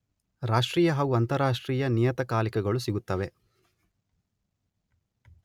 ರಾಷ್ಟ್ರೀಯ ಹಾಗೂ ಅಂತರರಾಷ್ಟ್ರೀಯ ನಿಯತಕಾಲಿಕಗಳು ಸಿಗುತ್ತವೆ.